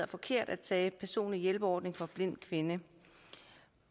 forkert at tage personlig hjælpeordning fra blind kvinde